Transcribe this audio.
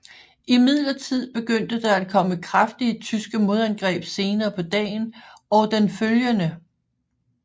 Imidlertid begyndte der at komme kraftige tyske modangreb senere på dagen og den følgende